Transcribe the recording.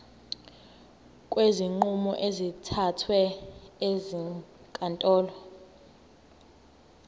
kwezinqumo ezithathwe ezinkantolo